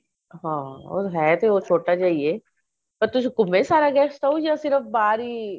ਹਾਂ ਹੇਇ ਤੇ ਉਹ ਛੋਟਾ ਜਾ ਈ ਏ ਤੁਸੀਂ ਘੁੰਮੇ ਸਾਰਾ guest house ਜਾ ਫੇਰ ਬਾਹਰ ਹੀ